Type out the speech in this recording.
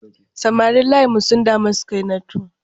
Samarin layinmu sun dami Sukainatu.